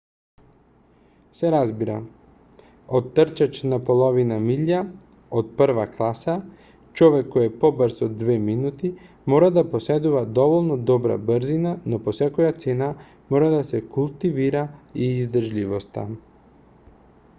се разбира од трчач на половина милја од прва класа човек кој е побрз од две минути мора да поседува доволно добра брзина но по секоја цена мора да се култивира и издржливоста